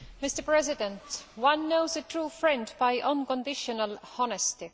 Mr President, one knows a true friend by unconditional honesty